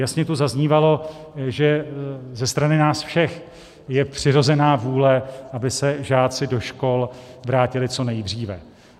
Jasně tu zaznívalo, že ze strany nás všech je přirozená vůle, aby se žáci do škol vrátili co nejdříve.